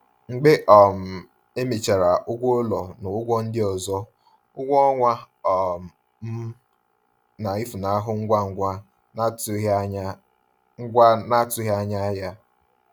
Mgbe um emechara ụgwọ ụlọ na ụgwọ ndị ọzọ, ụgwọ ọnwa um m na-efunahụ ngwa ngwa n’atụghị anya ngwa n’atụghị anya ya.